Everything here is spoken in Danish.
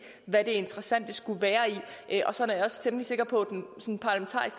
hvad det interessante skulle være i og sådan er jeg temmelig sikker på